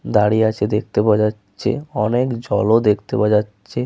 দাড়িয়ে আছে দেখতে পাওয়া যাচ্ছে। অনেক জল ও দেখতে পাওয়া যাচ্ছে।